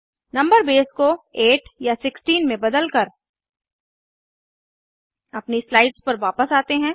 number base को 8 या 16 में बदलकर अपनी स्लाइड्स पर वापस आते हैं